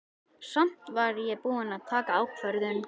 Samt var ég búin að taka ákvörðun.